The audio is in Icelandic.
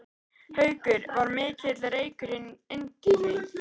Haukur: Var mikill reykur inn til þín?